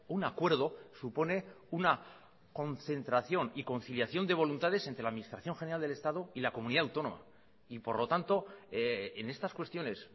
un acuerdo supone una concentración y conciliación de voluntades entre la administración general del estado y la comunidad autónoma y por lo tanto en estas cuestiones